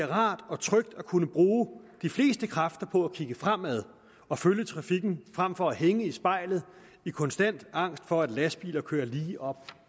rart og trygt at kunne bruge de fleste kræfter på at kigge fremad og følge trafikken frem for at hænge i spejlet i konstant angst for at lastbiler kører lige op